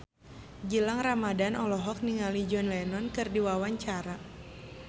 Gilang Ramadan olohok ningali John Lennon keur diwawancara